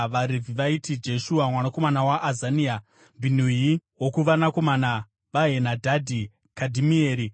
VaRevhi vaiti: Jeshua mwanakomana waAzania, Bhinui wokuvanakomana vaHenadhadhi, Kadhimieri,